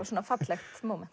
svona fallegt